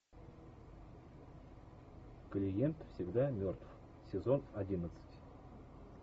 клиент всегда мертв сезон одиннадцать